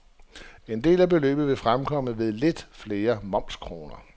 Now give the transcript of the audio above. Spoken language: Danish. En del af beløbet vil fremkomme ved lidt flere momskroner.